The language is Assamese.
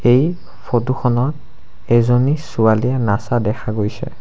এই ফটো খনত এজনী ছোৱালীয়ে নাচা দেখা গৈছে।